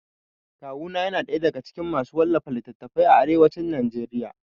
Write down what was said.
Kawu na yana ɗaya daga cikin masu wallafa littatafai a arewacin Najeriya